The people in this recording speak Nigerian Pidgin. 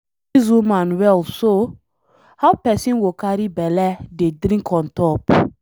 Dis woman well so? How person go carry bele dey drink on top.